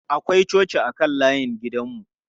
Akwai coci a kan layin gidan mu.